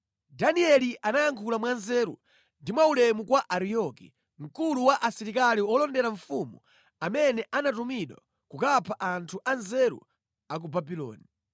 Danieli anayankhula mwanzeru ndi mwaulemu kwa Ariyoki, mkulu wa asilikali olondera mfumu amene anatumidwa kukapha anthu anzeru a ku Babuloni.